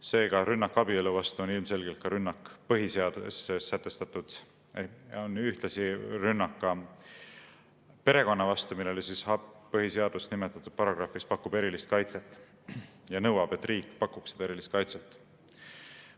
Seega, rünnak abielu vastu on ilmselgelt ühtlasi rünnak perekonna vastu, millele põhiseadus nimetatud paragrahvis pakub erilist kaitset ja nõuab, et riik pakuks seda erilist kaitset.